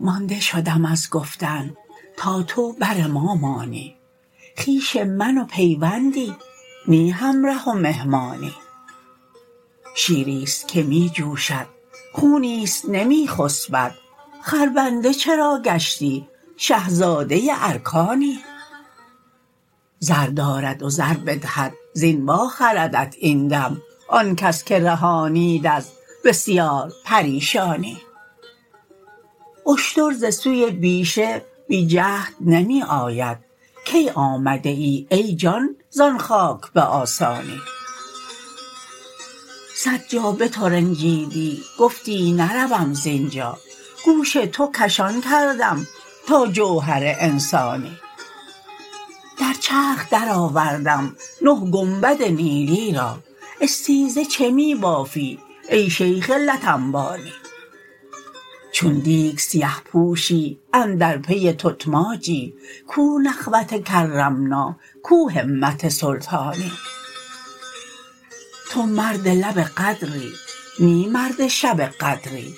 مانده شدم از گفتن تا تو بر ما مانی خویش من و پیوندی نی همره و مهمانی شیری است که می جوشد خونی است نمی خسبد خربنده چرا گشتی شه زاده ارکانی زر دارد و زر بدهد زین واخردت این دم آن کس که رهانید از بسیار پریشانی اشتر ز سوی بیشه بی جهد نمی آید کی آمده ای ای جان زان خاک به آسانی صد جا بترنجیدی گفتی نروم زین جا گوش تو کشان کردم تا جوهر انسانی در چرخ درآوردم نه گنبد نیلی را استیزه چه می بافی ای شیخ لت انبانی چون دیگ سیه پوشی اندر پی تتماجی کو نخوت کرمنا کو همت سلطانی تو مرد لب قدری نی مرد شب قدری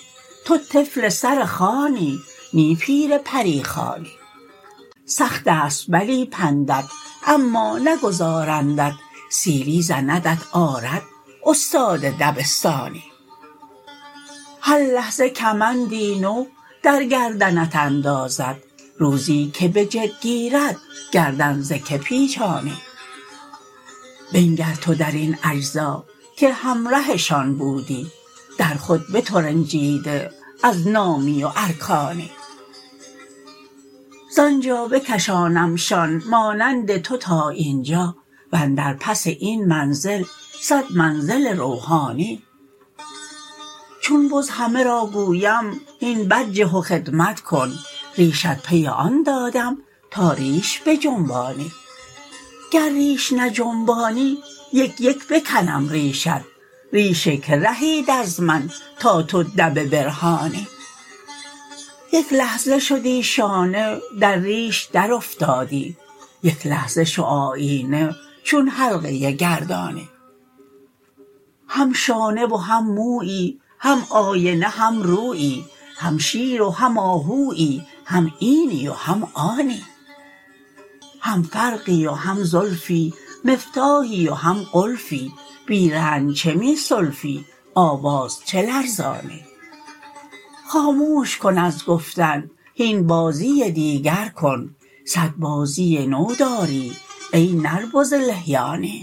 تو طفل سر خوانی نی پیر پری خوانی سخت است بلی پندت اما نگذارندت سیلی زندت آرد استاد دبستانی هر لحظه کمندی نو در گردنت اندازد روزی که به جد گیرد گردن ز کی پیچانی بنگر تو در این اجزا که همرهشان بودی در خود بترنجیده از نامی و ارکانی زان جا بکشانمشان مانند تو تا این جا و اندر پس این منزل صد منزل روحانی چون بز همه را گویم هین برجه و خدمت کن ریشت پی آن دادم تا ریش بجنبانی گر ریش نجنبانی یک یک بکنم ریشت ریش کی رهید از من تا تو دبه برهانی یک لحظه شدی شانه در ریش درافتادی یک لحظه شو آیینه چون حلقه گردانی هم شانه و هم مویی هم آینه هم رویی هم شیر و هم آهویی هم اینی و هم آنی هم فرقی و هم زلفی مفتاحی و هم قلفی بی رنج چه می سلفی آواز چه لرزانی خاموش کن از گفتن هین بازی دیگر کن صد بازی نو داری ای نر بز لحیانی